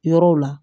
Yɔrɔw la